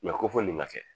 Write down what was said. ko fɔ nin ka kɛ